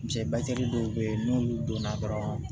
Cɛ batigi dɔw be yen n'olu donna dɔrɔn